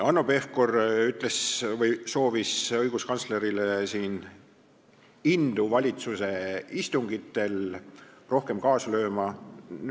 Hanno Pevkur soovis õiguskantslerile indu valitsuse istungitel rohkem kaasa lüüa.